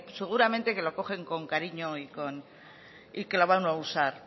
seguramente que los cogen con cariño y que lo van a usar